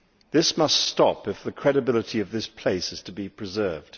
This must stop, if the credibility of this place is to be preserved.